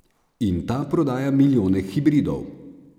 In ta prodaja milijone hibridov.